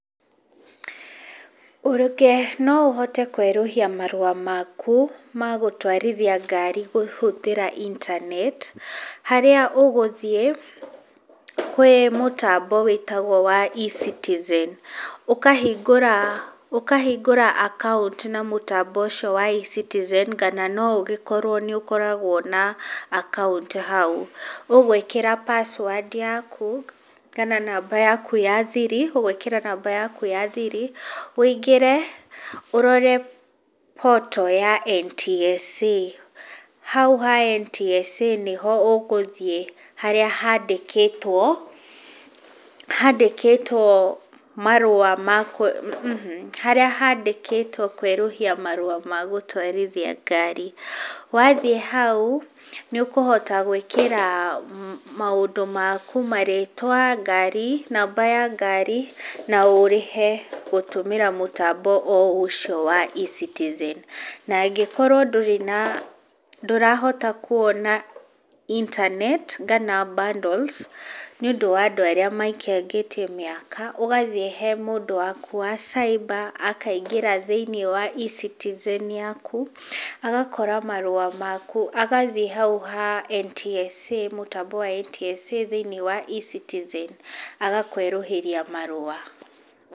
Ũrũke no ũhote kwerũhia marũa maku ma gũtwarithia ngari kũhũthĩra internet harĩa ũgũthiĩ kwĩ mũtambo wĩtagwo wa eCitizen, ũkahingũra ũkahingũra account na mũtambo ũcio wa eCitizen kana no ũgĩkorwo nĩ ũkoragwo na account hau. Ũgwĩkira password yaku kana namba yaku ya thiri, ũgwĩkĩra namba yaku ya thiri ũingire ũrore portal ya NTSA. Hau ha NTSA nĩho ũgũthĩe harwa haandĩkĩtwo, haandĩkĩtwo marũa, harĩa haandĩkitwo kwerũhia marũa ma gũtwarithia ngari, wathiĩ hau nĩ ũkũhota gwĩkira maũndũ maku, marĩtwa, ngari, namba ya ngari na ũrĩhe gũtumĩra mũtambo o ũcio wa eCitizen , na angĩkorwo ndũrĩ na, ndũrahota kuona internet kana bundles nĩ ũndũ wa andũ arĩa maikangĩitie miaka, ũgathiĩ he mũndũ waku wa cyber akaingĩra thĩiniĩ wa eCitizen yaku, agakora marũa maku, agathiĩ hau ha NTSA, mũtambo wa NTSA thĩiniĩ wa eCitizen, agakũerũhĩria marũa.